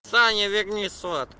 саша верни сот